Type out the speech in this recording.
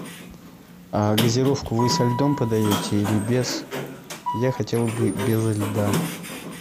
газировку вы со льдом подаете или без я хотел бы безо льда